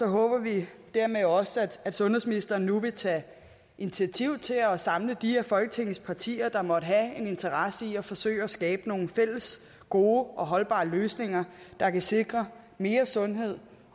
håber vi dermed også at sundhedsministeren nu vil tage initiativ til at samle de af folketingets partier der måtte have en interesse i at forsøge at skabe nogle fælles gode og holdbare løsninger der kan sikre mere sundhed